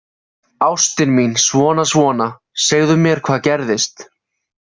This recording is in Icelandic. Ástin mín, svona, svona, segðu mér hvað gerðist